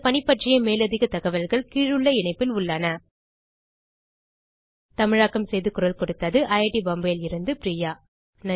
இந்த பணி பற்றிய மேலதிக தகவல்கள் கீழுள்ள இணைப்பில் உள்ளன தமிழாக்கம் பிரியா